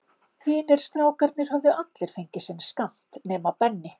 Hinir strákarnir höfðu allir fengið sinn skammt, nema Benni.